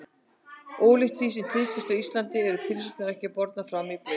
Ólíkt því sem tíðkast á Íslandi eru pylsurnar ekki bornar fram í brauði.